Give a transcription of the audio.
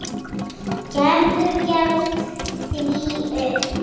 Gerður gefst því upp.